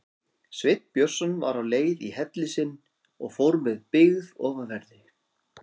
Sveinn Björnsson var á leið í helli sinn og fór með byggð ofanverðri.